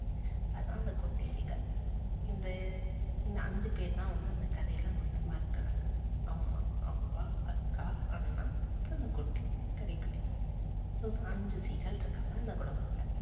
அதான் அந்த குட்டி seegal இது இந்த அஞ்சு பேரு தான் வந்து அந்த கதையில மொத்தமா இருக்கிறாங்க அம்மா, அப்பா, அக்கா அண்ணா, கண்ணு குட்டி கடைக்குட்டி so அஞ்சு seegal இருக்காங்க அந்த குடும்பத்துல